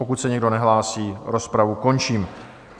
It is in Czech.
Pokud se nikdo nehlásí, rozpravu končím.